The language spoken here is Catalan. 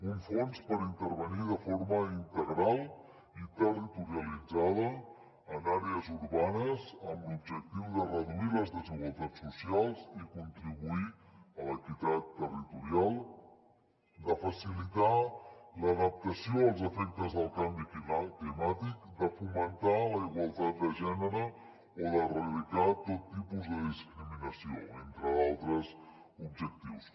un fons per intervenir de forma integral i territorialitzada en àrees urbanes amb l’objectiu de reduir les desigualtats socials i contribuir a l’equitat territorial de facilitar l’adaptació als efectes del canvi climàtic de fomentar la igualtat de gènere o d’erradicar tot tipus de discriminació entre d’altres objectius